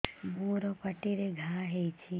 ମୋର ପାଟିରେ ଘା ହେଇଚି